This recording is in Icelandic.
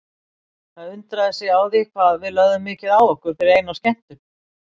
Það undraði sig á því hvað við lögðum mikið á okkur fyrir eina skemmtun.